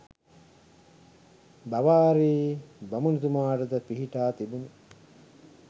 බාවාරි බමුණුතුමාට ද පිහිටා තිබුණි.